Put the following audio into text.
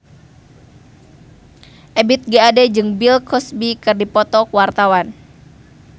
Ebith G. Ade jeung Bill Cosby keur dipoto ku wartawan